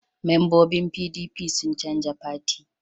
Mambobin PDP sun canja fati